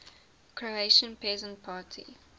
croatian peasant party